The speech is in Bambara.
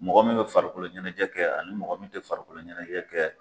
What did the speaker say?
Mɔgɔ min bɛ farikolo ɲɛnajɛ kɛ ani mɔgɔ min tɛ farikolo ɲɛnajɛ kɛ